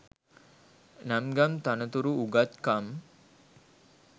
නම් ගම් තනතුරු උගත්කම්